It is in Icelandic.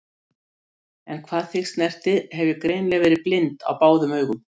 En hvað þig snertir hef ég greinilega verið blind á báðum augum.